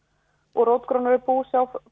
og rótgrónari bú sjá